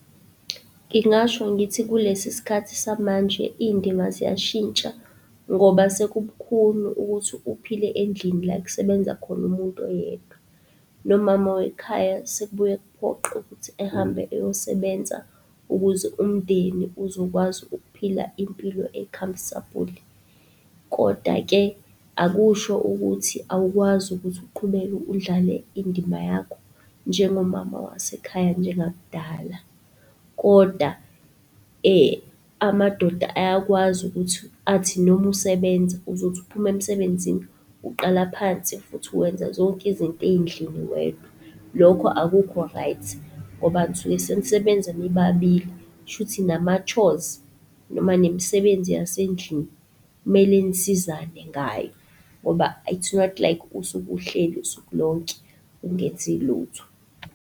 Ngingasho ngithi kulesisikhathi samanje iy'ndima ziyashintsha ngoba sekubukhuni ukuthi uphile endlini la ekusebenza khona umuntu oyedwa. Nomama wekhaya sekubuye kuphoqe ukuthi ehambe eyosebenza ukuze umndeni uzokwazi ukuphila impilo e-comfortable. Kodwa-ke, akusho ukuthi awukwazi ukuthi uqhubeke udlale indima yakho njengomama wasekhaya njengakudala. Kodwa amadoda ayakwazi ukuthi, athi noma usebenza, uzothi uphuma emsebenzini uqala phansi futhi wenza zonke izinto endlini wedwa. Lokho akukho right, ngoba nisuke senisebenza nibabili, kushuthi nama-chores, noma nemisebenzi yasendlini, kumele nisizane ngayo. Ngoba it's not like usuke uhleli usuku lonke, ungenzi lutho.